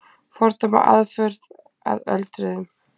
Fordæma aðför að öldruðum